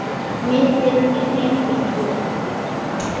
Myndin er fengin héðan.